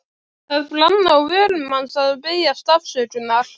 Það brann á vörum hans að biðjast afsökunar.